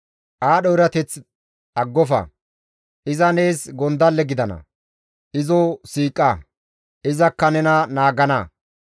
Aadho erateth aggofa; iza nees gondalle gidana; izo siiqa; izakka nena naagana.